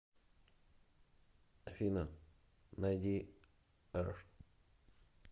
афина найди р